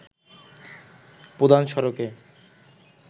প্রধান সড়কে